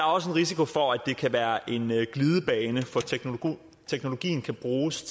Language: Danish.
også en risiko for at det kan være en glidebane for teknologien teknologien kan bruges